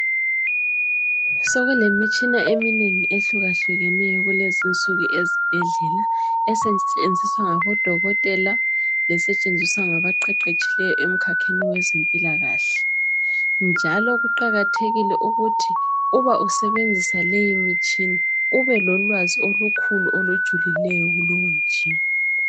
Sokulemitshina eminengi ehlukahlukeneyo kulezinsuku ezibhedlela esetshenziswa ngabodokotela lesetshenziswa ngabaqeqetshileyo emikhakheni wezempilakahle njalo kuqakathekile ukuthi uba usebenzisa leyi mitshina ube lolwazi okukhulu olujulileyo kulowo mtshina.